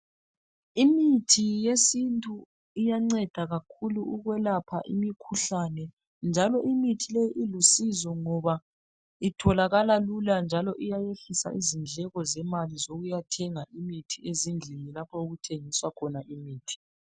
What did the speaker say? Imithi yesintu iyanceda kakhulu ukuyelapha imikhuhlane njalo imithi leyo ilusizo ngoba itholakala lula njalo iyayehlisa izindleko zemali zokuyathenga imithi ezindlini lapho okuthengiswa khona imithi.